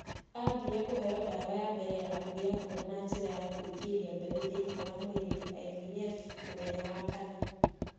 Aambire kũheo ndawa ya mbere ya kũgĩa mwana na njĩra ya kũingĩria mbeũ thĩinĩ wa mwĩrĩ (IVF) mũthenya wa Wakana.